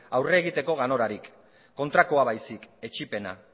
aurre egiteko ganorarik kontrakoa baizik etsipena